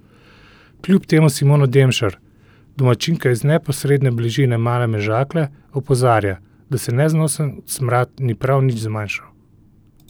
Kljub temu Simona Demšar, domačinka iz neposredne bližine Male Mežakle, opozarja, da se neznosen smrad ni prav nič zmanjšal.